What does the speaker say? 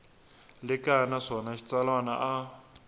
le kaya naswona xitsalwana a